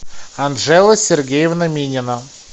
анжела сергеевна минина